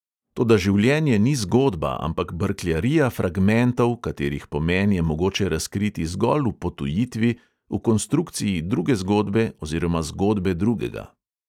Toda življenje ni zgodba, ampak brkljarija fragmentov, katerih pomen je mogoče razkriti zgolj v potujitvi, v konstrukciji druge zgodbe oziroma zgodbe drugega.